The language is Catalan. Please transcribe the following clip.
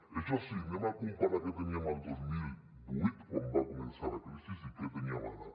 això sí anem a comparar què teníem el dos mil vuit quan va començar la crisi i què tenim ara